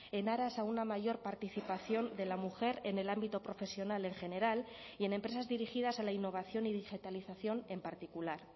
en aras a una mayor participación de la mujer en el ámbito profesional en general y en empresas dirigidas a la innovación y digitalización en particular